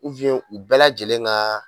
u bɛɛ lajɛlen ka